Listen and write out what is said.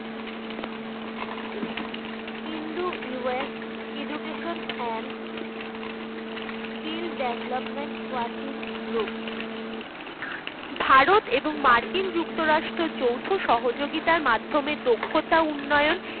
Hindu US education and skill development working group Bharat এবং মার্কিন যুক্তরাষ্ট্র যোথ সহযোগিতার মাধমে দক্ষতা উন্নয়ন